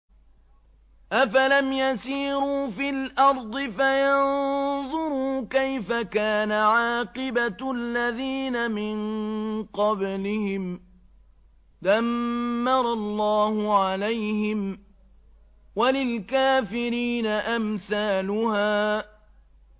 ۞ أَفَلَمْ يَسِيرُوا فِي الْأَرْضِ فَيَنظُرُوا كَيْفَ كَانَ عَاقِبَةُ الَّذِينَ مِن قَبْلِهِمْ ۚ دَمَّرَ اللَّهُ عَلَيْهِمْ ۖ وَلِلْكَافِرِينَ أَمْثَالُهَا